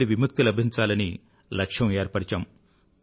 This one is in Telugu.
బి నుండి విముక్తి లభించాలని లక్ష్యం ఏర్పరిచాము